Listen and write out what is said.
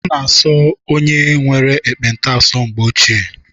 A na-asọ onye nwere ekpenta asọ na mgbe ochie.